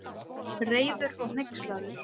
Reiður og hneykslaður.